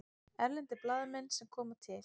Erlendir blaðamenn sem koma til